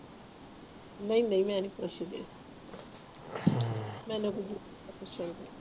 ਨਹੀਂ ਨਹੀਂ ਮੈਂ ਨਹੀਂ ਪੁੱਛਦੀ ਮੈਨੂੰ ਕੀ ਪੁੱਛਣ ਦੀ